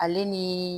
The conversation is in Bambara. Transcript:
Ale ni